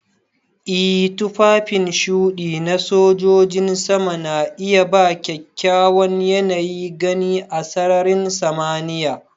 Ee tufafin shuɗi na sojojin sama na iya ba kyakkyawan yanayin gani a sararin samaniya.